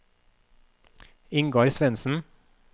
Ingar Svendsen